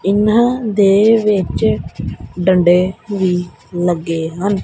ਇਹਨਾਂ ਦੇ ਵਿੱਚ ਡੰਡੇ ਵੀ ਲੱਗੇ ਹਨ।